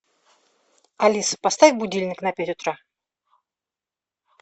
алиса поставь будильник на пять утра